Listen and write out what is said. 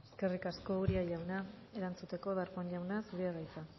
eskerrik asko uria jauna erantzuteko darpón jauna zurea da hitza